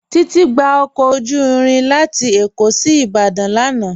Titi gbà ọkọ ojú irin lati Ékó sí Ìbàdàn lánà.